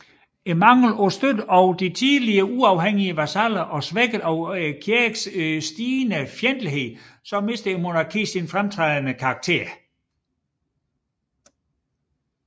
Manglen på støtten fra de tidligere uafhængige vasaller og svækket af Kirkens stigende fjendtlighed mistede monarkiet sin fremtrædende karakter